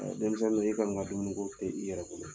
A Denmisɛnw i kɔni ka dumuni ko tɛ i yɛrɛ bolo